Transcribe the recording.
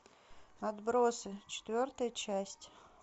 отбросы четвертая часть